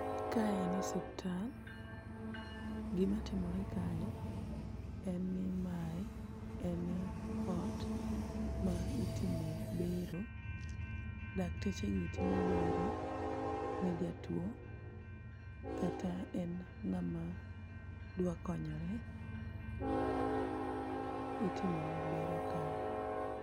kae en hospital ,gima timore kae en ni mae en ot ma itime bero ,lakteche gi timo bero ne jatuo kata en ng'ama dwa konyore ,itomone bero kae.